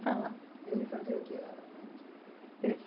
Para lá. Ele fazia o que lá na Firestone? Ele